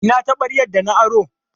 Ina taɓaryar da na aro?